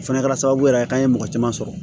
O fɛnɛ kɛra sababu yɛrɛ ye k'an ye mɔgɔ caman sɔrɔ